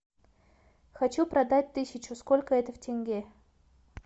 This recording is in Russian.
хочу продать тысячу сколько это в тенге